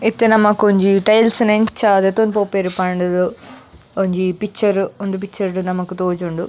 ಇತ್ತೆ ನಮಕೊಂಜಿ ಟೈಲ್ಸ್ ನ್ ಎಂಚ ದೆತೊಂದು ಪೋಪೆರ್ ಪಂಡ್ ದು ಒಂಜಿ ಪಿಕ್ಚರ್ ಉಂದು ಪಿಕ್ಚರ್ ನಮಕ್ ತೋಜುಂಡು.